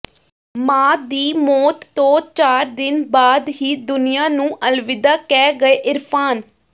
ਮਾਂ ਦੀ ਮੌਤ ਤੋਂ ਚਾਰ ਦਿਨ ਬਾਅਦ ਹੀ ਦੁਨੀਆ ਨੂੰ ਅਲਵਿਦਾ ਕਹਿ ਗਏ ਇਰਫਾਨ